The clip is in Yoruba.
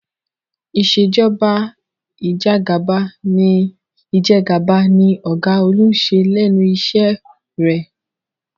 Ìṣèjọba Ìjẹgàba ni ọ̀gá Olú ń ṣe lẹ́nu iṣẹ́ rẹ̀